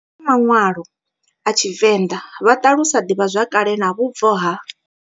Vhadivhi vha manwalo a TshiVenda vha talusa divhazwakale na vhubvo ha.